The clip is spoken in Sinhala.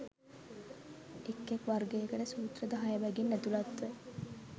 එක් එක් වර්ගයකට සූත්‍ර දහය බැගින් ඇතුළත්ව